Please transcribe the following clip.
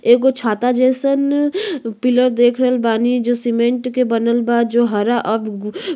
एगो छाता जैसन पिलर देख रहल बानी जो सीमेंट के बनल बा जो हरा अब गु --